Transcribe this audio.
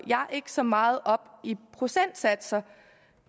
ikke så meget op i procentsatser